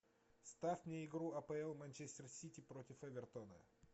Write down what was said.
ставь мне игру апл манчестер сити против эвертона